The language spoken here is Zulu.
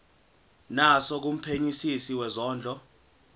naso kumphenyisisi wezondlo